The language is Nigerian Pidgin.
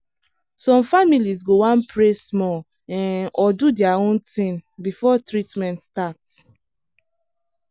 some families go wan pray small um or do their own thing before treatment start.